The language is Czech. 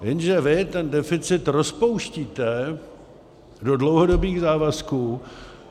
Jenže vy ten deficit rozpouštíte do dlouhodobých závazků.